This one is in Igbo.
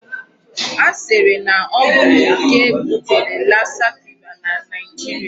A sịrị na ọ bụ okè butere lassa fever na Nigeria.